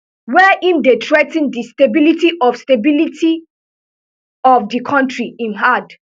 wey im dey threa ten di stability of stability of di kontri im add